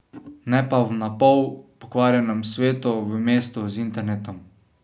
Ne pa v na pol pokvarjenem svetu, v mestu z internetom.